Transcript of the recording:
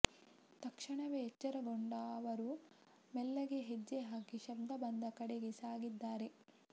ತಕ್ಷಣವೇ ಎಚ್ಚರಗೊಂಡ ಅವರು ಮೆಲ್ಲಗೆ ಹೆಜ್ಜೆ ಹಾಕಿ ಶಬ್ದ ಬಂದ ಕಡೆಗೆ ಸಾಗಿದ್ದಾರೆ